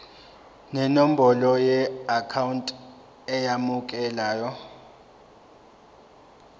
nenombolo yeakhawunti emukelayo